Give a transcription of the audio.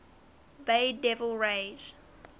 bay devil rays